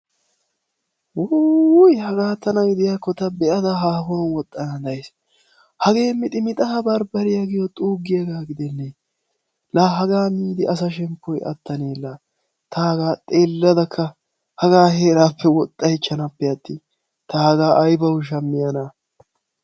Wuuwuy! Haga tana gidiyakko ta be'ada hahuwan woxxana days. Hagee mixi mixxa barbbariya giyo xuugiyaga gidennee. Laa hagaa miida asaa shemppoy attanee laa. Ta hagaa xeeladakka hagaa heerappe woxxaychchanapeattin. Ta hagaa aybawu shammiyana.